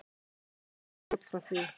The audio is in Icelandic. Ég lifi ekki út frá því.